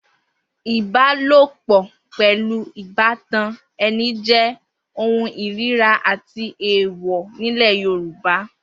Ìbálòpò̩ pè̩lú ìbátan e̩ni jé̩ ohun ìríra àti èèwò̩ nílè̩ Yorùbá